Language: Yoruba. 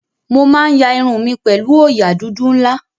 Mo máa ń ya irun mi pẹ̀lú òòyà dúdú ńlá.